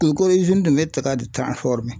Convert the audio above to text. U ko de tun bɛ taka